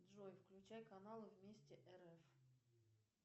джой включай каналы вместе рф